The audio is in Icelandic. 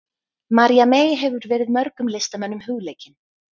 María mey hefur verið mörgum listamönnum hugleikin.